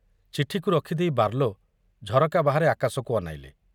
ଚିଠିକୁ ରଖିଦେଇ ବାର୍ଲୋ ଝରକା ବାହାରେ ଆକାଶକୁ ଅନାଇଲେ।